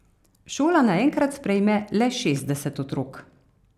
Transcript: Šola naenkrat sprejme le šestdeset otrok.